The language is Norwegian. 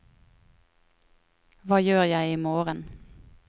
hva gjør jeg imorgen